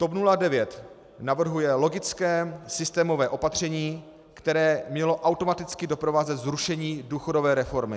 TOP 09 navrhuje logické systémové opatření, které mělo automaticky doprovázet zrušení důchodové reformy.